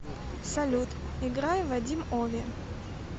салют играй вадим ови